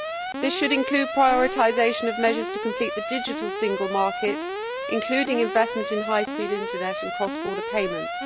This should include prioritisation of measures to complete the digital single market, including investment in high speed internet and cross border payments.